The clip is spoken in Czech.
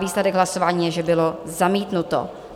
Výsledek hlasování je, že bylo zamítnuto.